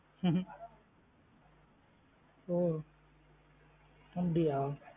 ஹம் ஒ அப்டி யா?